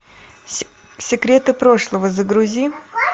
секреты прошлого загрузи